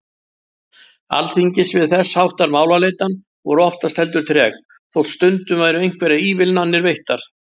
Alþingis við þess háttar málaleitan voru oftast heldur treg, þótt stundum væru einhverjar ívilnanir veittar.